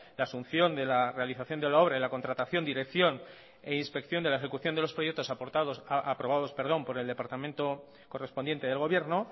la asunción de la realización de la obra y la contratación dirección e inspección de la ejecución de los proyecto aprobados por el departamento correspondiente del gobierno